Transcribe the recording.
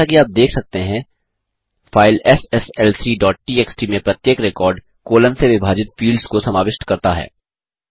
जैसा कि आप देख सकते हैं फाइल sslcटीएक्सटी में प्रत्येक रिकॉर्ड कॉलन से विभाजित फील्ड्स को समाविष्ट करता है